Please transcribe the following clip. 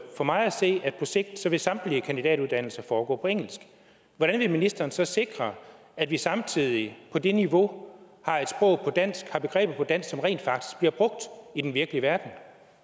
for mig at se at på sigt vil samtlige kandidatuddannelser foregå på engelsk hvordan vil ministeren så sikre at vi samtidig på det niveau har begreber på dansk som rent faktisk bliver brugt i den virkelige verden